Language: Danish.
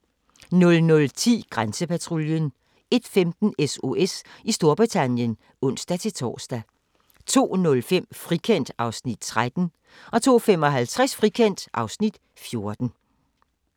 00:10: Grænsepatruljen 01:15: SOS i Storbritannien (ons-tor) 02:05: Frikendt (Afs. 13) 02:55: Frikendt (Afs. 14)